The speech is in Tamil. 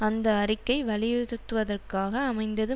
அந்த அறிக்கை வலியுறுத்துவதற்காக அமைந்தது